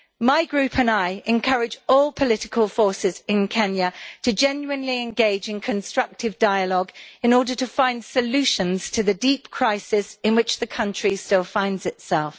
My Group and I encourage all political forces in Kenya to genuinely engage in constructive dialogue in order to find solutions to the deep crisis in which the country still finds itself.